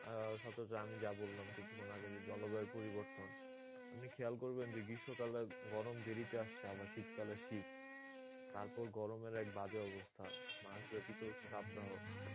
আহ সচরাচর আমি যা বললাম কিছুক্ষণ আগে যে জলবায়ুর পরিবর্তন আপনি খেয়াল করবেন যে গ্রীষ্ম কালে গরম দেরীতে আসছে আবার শীত কালের শীত তারপর গরমের এক বাজে অবস্থা মাসব্যাপী চলছে তাপদাহ